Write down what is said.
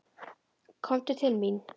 Komdu til mín.